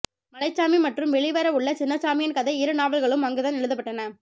மலைச்சாமி மற்றும் வெளிவர உள்ள சின்னசாமியின் கதை இருநாவல்களும் அங்குதான் எழுதப்பட்டன